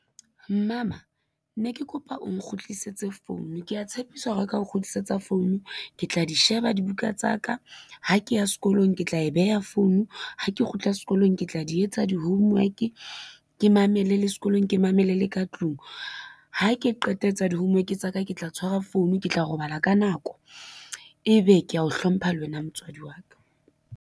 Mmama ne ke kopa o nkgutlisetse phone kea tshepisa ho reka ho kgutlisetsa founu ke tla di sheba dibuka tsa ka, ha ke ya sekolong ke tla e beha founu, ha ke kgutla sekolong ke tla di etsa di-homework, ke mamele le sekolong, ke mamele le ka tlung. Ha ke qeta ho etsa di-homework tsa ka, ke tla tshwara phone, ke tla robala ka nako, ebe kea o hlompha le wena motswadi wa ka.